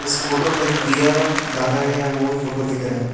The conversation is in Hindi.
इस फोटो में दिया दागा गया है वही फोटो दिख रहा है।